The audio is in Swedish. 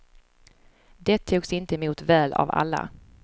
Det togs inte emot väl av alla.